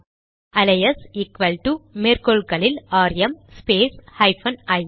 alias equal to மேற்கோள்களில் R M space hyphen ஐ